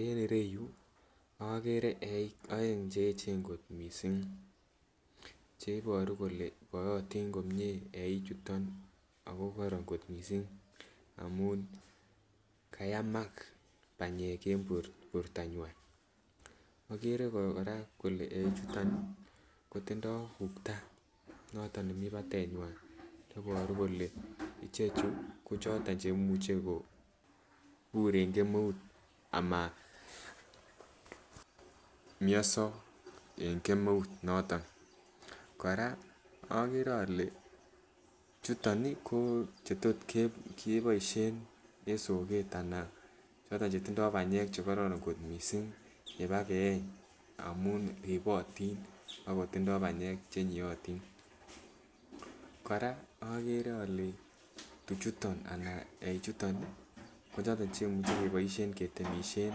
En ireyuu okere eik oeng cheyechen kot missing cheiboru kole bootin komie eik chuton ako korom kot missing amun kayamak panyek en bortonywan. Okere Koraa ole eik chuton Nii kotindoi ukta noton nemii patenywan neboru kole ichechu ko choton cheimuche kobur en kemeut ama mioso en kemeut noton. Koraa okere ole chuton nii ko chetot keboishen en soket anan choton chetindo panyek chekororon kot missing yebakeyeny amun ribotin ako tindo panyek chenyiotin, Koraa okere ole tuchuton ana eik chuton nii ko choton cheimuche keboishen ketemishen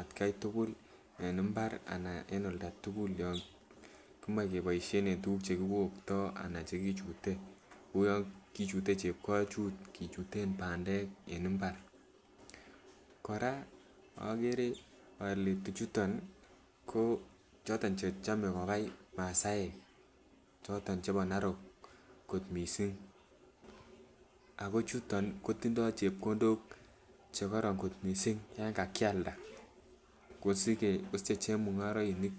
atgai tukul en imbar anan en oldatukul yon komoche keboishen en tukuk chekiwokto anan tukuk chekichute kou yon kichute chepkochuut kichuten pandek en imbar. Koraa okere ole tuchuton nii ko choton cheochome konai masaek choton chebo narok kot missing ako chuton kotindoi chepkondok chekoron kot missing yon kakialda kosige kosiche chemungoroinik.